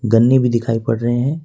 गन्ने भी दिखाई पड़ रहे हैं।